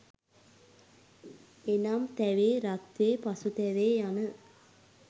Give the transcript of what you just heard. එනම්; තැවේ, රත්වේ, පසුතැවේ යන